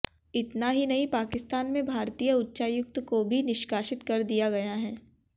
इतना ही नहीं पाकिस्तान में भारतीय उच्चायुक्त को भी निष्कासित कर दिया गया है